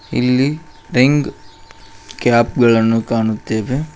ಇಲ್ಲಿ ring cap ಗಳನ್ನು ಕಾಣುತ್ತೆವೆ.